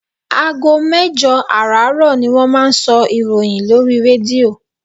Aago mẹ́jọ àràárọ̀ ni wọ́n máa ń sọ ìròyìn lórí rédíò.